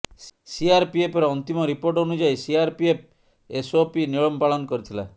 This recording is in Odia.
ସିଆରପିଏଫର ଅନ୍ତିମ ରିପୋର୍ଟ ଅନୁଯାୟୀ ସିଆରପିଏଫ୍ ଏସଓପି ନିୟମ ପାଳନ କରିଥିଲା